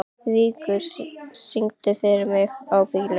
Víkingur, syngdu fyrir mig „Ábyggilega“.